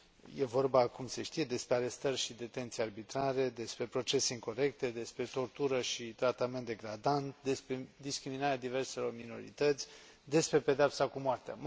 E vorba, cum se știe, despre arestări și detenții arbitrare, despre procese incorecte, despre tortură și tratament degradant, despre discriminarea diverselor minorități, despre pedeapsa cu moartea.